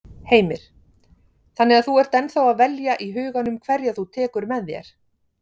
Heimir: Þannig að þú ert ennþá að velja í huganum hverja þú tekur með þér?